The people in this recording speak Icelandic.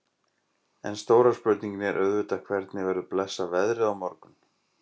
En stóra spurningin er auðvitað hvernig verður blessað veðrið á morgun?